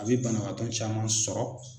A bɛ banabagatɔ caman sɔrɔ.